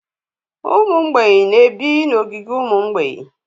Ụmụ mgbei na-ebi n'ogige ụmụ mgbeị.